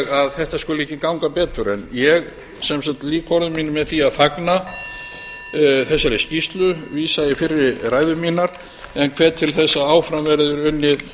að þetta skuli ekki ganga betur ég lýk sem sagt orðum mínum með því að fagna þessari skýrslu vísa í fyrri ræður mínar en hvet til þess að áfram verði unnið